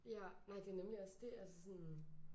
Ja nej det nemlig også det altså sådan